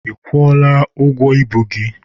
Ị kwụọla ụgwọ ibu gị?